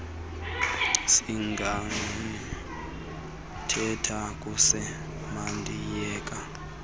singathetha kuse mandiyeke